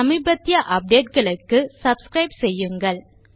சமீபத்திய அப்டேட் களுக்கு சப்ஸ்கிரைப் செய்யுங்கள்